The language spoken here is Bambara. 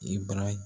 I bara